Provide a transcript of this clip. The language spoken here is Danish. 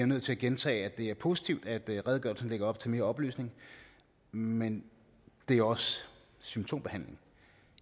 nødt til at gentage at det er positivt at redegørelsen lægger op til mere oplysning men det er også symptombehandling